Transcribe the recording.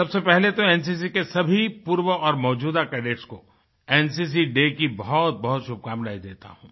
सबसे पहले तो एनसीसी के सभी पूर्व और मौजूदा कैडेट को एनसीसीडे की बहुतबहुत शुभकामनाएं देता हूँ